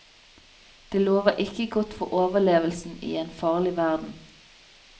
Det lover ikke godt for overlevelsen i en farlig verden.